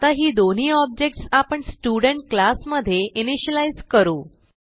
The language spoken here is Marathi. आता ही दोन्ही ऑब्जेक्ट्स आपण स्टुडेंट क्लास मधे इनिशियलाईज करू